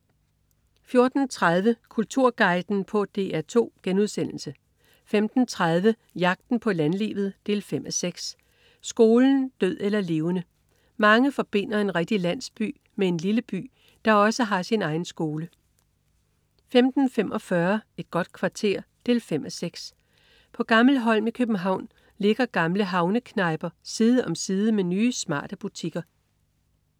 14.30 Kulturguiden på DR2* 15.30 Jagten på landlivet 5:6. Skolen, død eller levende. Mange forbinder en rigtig landsby med en lille by, der også har sin egen skole 15.45 Et godt kvarter 5:6. På Gammelholm i København ligger gamle havneknejper side om side med nye, smarte butikker